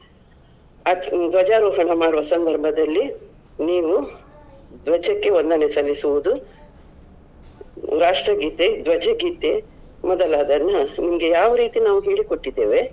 ಆ ಧ್ವಜಾರೋಹಣ ಮಾಡುವ ಸಂದರ್ಭದಲ್ಲಿ ನೀವು ಧ್ವಜಕ್ಕೆ ವಂದನೇ ಸಲ್ಲಿಸುದು, ರಾಷ್ಟ್ರಗೀತೆ, ಧ್ವಜ ಗೀತೆ ಮೊದಲಾದನ್ನ ನಿಮಗೆ ಯಾವ ರೀತಿ ನಾವು ಹೇಳಿ ಕೊಟ್ಟಿದ್ದೇವೆ ಅದೇ ರೀತಿ ಚೆನ್ನಾಗಿ ಮಾಡತಕ್ಕದ್ದು.